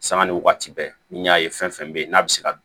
Sanga ni waati bɛɛ n'i y'a ye fɛn fɛn bɛ yen n'a bɛ se ka